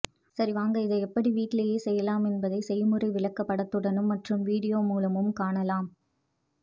சரி வாங்க இதை எப்படி வீட்டிலேயே செய்யலாம் என்பதை செய்முறை விளக்க படத்துடனும் மற்றும் வீடியோ மூலமும் காணலாம்